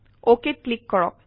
অকেত click কৰক